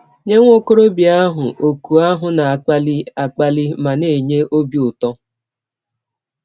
Nye nwa ọkọrọbịa ahụ, òkù ahụ na - akpali akpali ma na - enye ọbi ụtọ!